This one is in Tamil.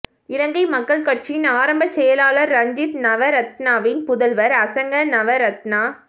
இலங்கை மக்கள் கட்சியின் ஆரம்ப செயலாளர் ரஞ்சித் நவரத்னவின் புதல்வர் அசங்க நவரத்ன